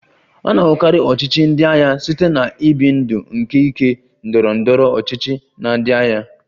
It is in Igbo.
A na-ahụkarị ọchịchị ndị agha site na ibi ndụ nke ike ndọrọ ndọrọ ọchịchị na ndị agha